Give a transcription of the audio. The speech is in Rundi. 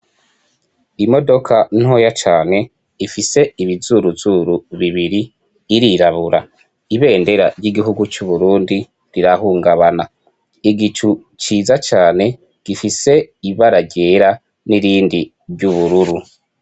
Imodoka ntoya cane ifise ibizuru zuru bibiri irirabura, ibendera y’igihugu c’Uburundi rirahungabana. Igicu ciza cane gifise ibara ryera niryubururu.